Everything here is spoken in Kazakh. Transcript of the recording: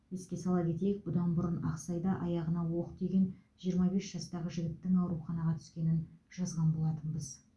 еске сала кетейік бұдан бұрын ақсайда аяғына оқ тиген жиырма бес жастағы жігіттің ауруханаға түскенін жазған болатынбыз